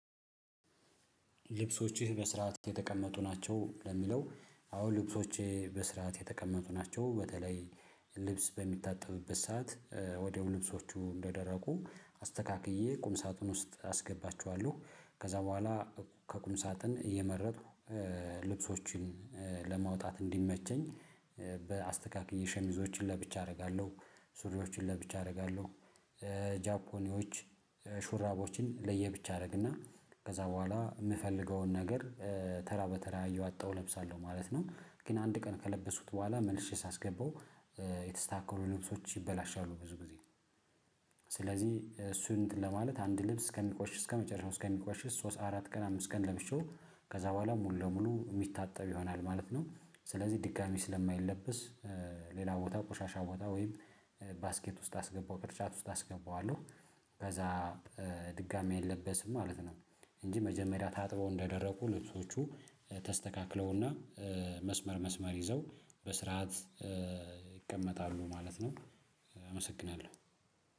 ልብሶችህ በስርዓት የተቀመጡ ናቸው ለሚለው አዎ ልብሶችህ በስርዓት የተቀመጡ ናቸው? በተለይ ልብስ በሚታጠብበት ሰዓት ወዲያው ልብሶቹ እንደደረቁ አስተካክዬ ቁም ሳጥን ውስጥ አስገባችኋለሁ። ከዛ በኋላ ከቁም ሳጥን እየመረጥኩ ልብሶችን ለማውጣት እንዲመቸኝ በአስተካክዬ ሸሚዞችን ለብቻ አደርጋለሁ ሱሪዎችን ለብቻ አደርጋለሁ። ጃፖኒዎች ሹራቦችን ለየብቻ አደርግና ከዛ በኋላ የምፈልገውን ነገር ተራ በተራ አየው አጣው እለብሳለሁ ማለት ነው። ግን አንድ ቀን ከለበሱት በኋላ መልሼ ሳስገባው የተስተካከሩ ልብሶች ይበላሻሉ ብዙ ጊዜ። ስለዚህ እሱን ለማለት አንድ ልብስ ከሚቆሽ እስከመጨረሻው እስከሚቆሽ ሶስት አራት ቀን አምስት ቀን ለብሼው ከዛ በኋላ ሙሉ ለሙሉ የሚታጠብ ይሆናል ማለት ነው። ስለዚህ ድጋሚ ስለማይለብስ ሌላ ቦታ ቆሻሻ ቦታ ወይም ባስኬት ውስጥ አስገባው ቅርጫት ውስጥ አስገባዋለሁ። ከዛ ድጋሚ አይለበስም ማለት ነው። እንጂ መጀመሪያ ታጥበው እንዱረቁ ልብሶቹ ተስተካክለውና መስመር መስመር ይዘው በስርዓት ይቀመጣሉ ማለት ነው። አመሰግናለሁ